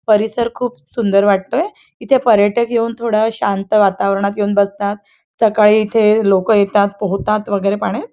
परिसर खूप सुंदर वाटतोय इथ पर्यटक येऊन थोड शांत वातावरणात येऊन बसतात सकाळी इथे लोकं येतात पोहतात वगैरे पाण्यात.